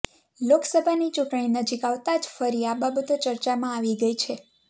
લોકસભાની ચૂંટણી નજીક આવતા જ ફરી આ બાબતો ચર્ચામાં આવી ગઇ છે